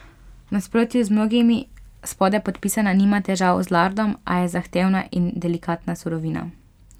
V nasprotju z mnogimi spodaj podpisana nima težav z lardom, a je zahtevna in delikatna surovina.